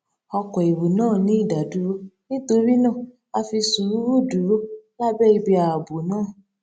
oko èrò naa ni idaduro nítorí náà a fi sùúrù dúró lábé ibi ààbò náà